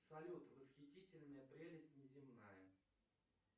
салют восхитительная прелесть неземная